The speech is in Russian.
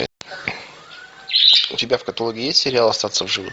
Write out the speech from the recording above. у тебя в каталоге есть сериал остаться в живых